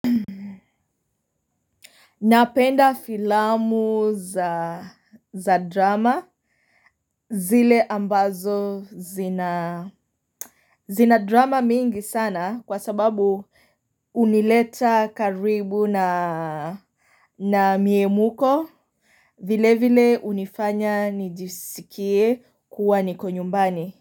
Napenda filamu za drama zile ambazo zina zina drama mingi sana kwa sababu unileta karibu na na mie muko vile vile unifanya nijisikie kuwa niko nyumbani.